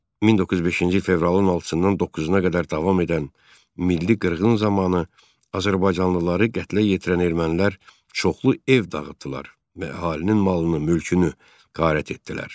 1905-ci il fevralın 6-dan 9-a qədər davam edən milli qırğın zamanı azərbaycanlıları qətlə yetirən ermənilər çoxlu ev dağıtdılar və əhalinin malını, mülkünü qarət etdilər.